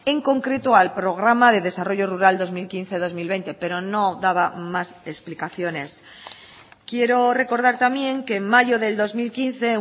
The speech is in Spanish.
en concreto al programa de desarrollo rural dos mil quince dos mil veinte pero no daba más explicaciones quiero recordar también que en mayo del dos mil quince